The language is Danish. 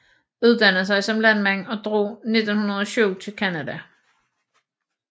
Uddannede sig som landmand og drog 1907 til Canada